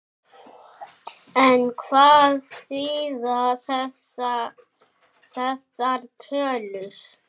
En hvað þýða þessar tölur?